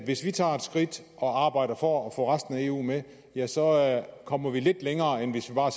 vi tager et skridt og arbejder for at få resten af eu med ja så kommer vi lidt længere end hvis vi bare